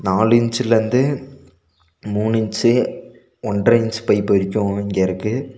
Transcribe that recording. நாலு இன்ச்ல இருந்து மூணு இன்ச் ஒன்ற இன்ச் பைப் வரைக்கு இங்க இருக்கு.